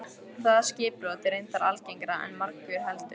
Það skipbrot er reyndar algengara en margur heldur.